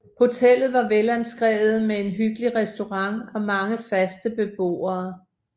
Hotellet var velanskrevet med en hyggelig restaurant og mange faste beboere